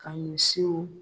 Ka misiw